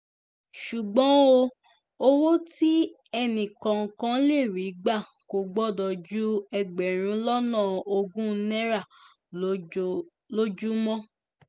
ṣùgbọ́n o owó tí ẹnìkọ̀ọ̀kan lè rí gbà kò gbọ́dọ̀ ju ẹgbẹ̀rún lọ́nà ogún náírà lójúmọ́